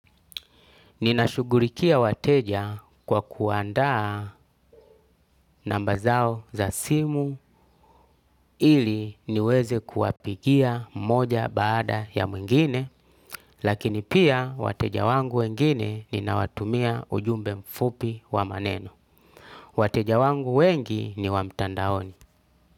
Ninashugurikia wateja kwa kuandaa namba zao za simu ili niweze kuwapigia moja baada ya mwingine, lakini pia wateja wangu wengine ni nawatumia ujumbe mfupi wa maneno. Wateja wangu wengi ni wamtandaoni.